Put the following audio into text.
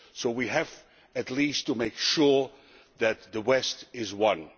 We have, at least, to make sure that the West is one.